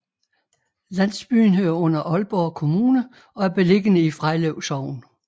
Landsbyen hører under Aalborg Kommune og er beliggende i Frejlev Sogn